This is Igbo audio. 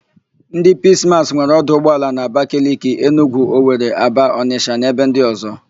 Ndị Piis Maas nwere 'ọdụ ụgbọala na: Abakaliki, Enugwu, Owere, Aba, Ọnịsha na ebe ndị ọ̀zọ́.